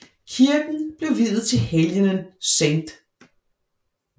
Kirken blev viet til helgenen St